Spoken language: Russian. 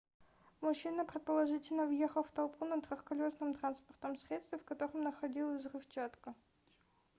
мужчина предположительно въехал в толпу на трехколесном транспортном средстве в котором находилась взрывчатка